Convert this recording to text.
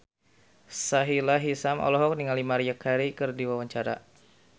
Sahila Hisyam olohok ningali Maria Carey keur diwawancara